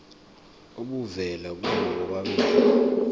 obuvela kubo bobabili